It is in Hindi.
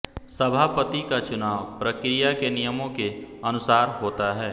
सभापति का चुनाव प्रक्रिया के नियमों के अनुसार होता है